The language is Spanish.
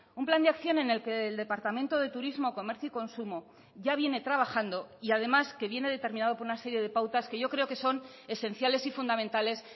un plan de acción en el que el departamento de turismo comercio y consumo ya viene trabajando y además que viene determinado por una serie de pautas que yo creo que son esenciales y fundamentales